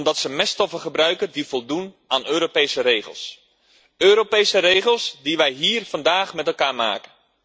Omdat ze meststoffen gebruiken die voldoen aan Europese regels, Europese regels die wij hier vandaag met elkaar maken.